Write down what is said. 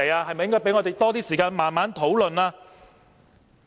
是否應給予我們多一點時間慢慢討論？